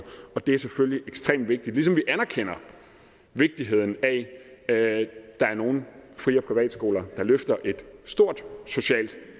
og det er selvfølgelig ekstremt vigtigt ligesom vi anerkender vigtigheden af at der er nogle fri og privatskoler der løfter et stort socialt